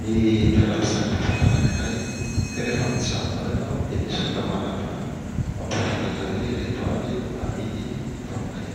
ny toeram-pisakafoana anankiray ka rehefa mijanona ao ianao dia misy olona manantona mampahafantatra hoe ireto avy no amidy ato aminay.